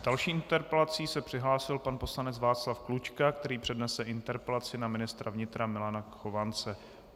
S další interpelací se přihlásil pan poslanec Václav Klučka, který přednese interpelaci na ministra vnitra Milana Chovance.